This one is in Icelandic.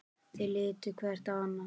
Þeir litu hver á annan.